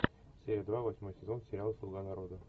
серия два восьмой сезон сериал слуга народа